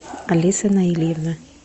алиса наильевна